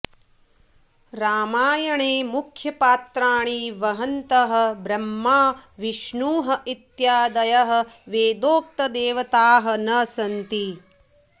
रामायणे मुख्यपात्राणि वहन्तः ब्रह्मा विष्णुः इत्यादयः वेदोक्तदेवताः न सन्ति